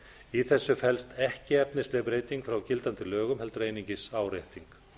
í þessu felst ekki efnisleg breyting frá gildandi lögum heldur einungis árétting